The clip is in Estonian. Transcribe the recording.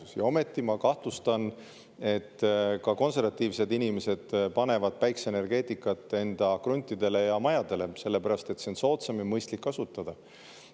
ma kahtlustan, et ikkagi ka konservatiivsed inimesed panevad päikese enda kruntidele ja majadele, sellepärast et see on soodsam ja neid on mõistlik kasutada.